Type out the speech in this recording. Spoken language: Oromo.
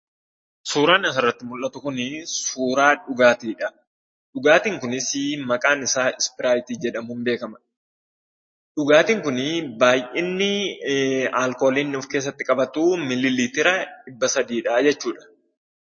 Suuraan asirratti mul'atu kun, suuraa dhugaatidha. dhugaatiin kunis maqaan isaa ispiraatii jedhamuun beekama. dhugaatin kuni, baay'inni alkoolii inni of keessatti qabatu milii liitira dhibba sadiidha jechuudha.